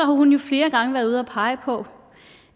har hun jo flere gange været ude at pege på